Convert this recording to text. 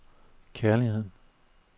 kærligheden